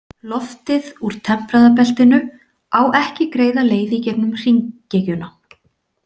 Loftið úr tempraða beltinu á ekki greiða leið í gegnum hringekjuna.